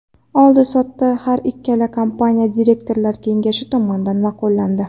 Oldi-sotdi har ikkala kompaniya direktorlar kengashi tomonidan ma’qullandi.